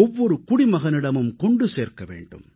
ஒவ்வொரு குடிமகனிடமும் கொண்டு சேர்க்க வேண்டும்